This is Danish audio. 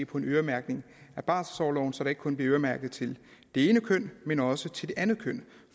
på en øremærkning af barselorloven så der ikke kun bliver øremærket til det ene køn men også til det andet køn